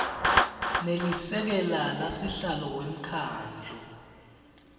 nelisekela lasihlalo wemkhandlu